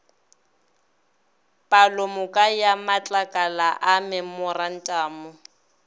palomoka ya matlakala a memorantamo